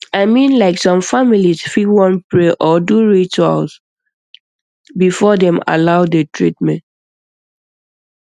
i mean like some families fit wan pray or do ritual before dem allow the treatment